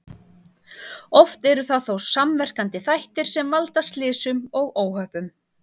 Oft eru það þó samverkandi þættir sem valda slysum og óhöppum.